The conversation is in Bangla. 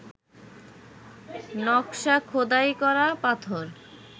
নকশা খোদাই করা পাথর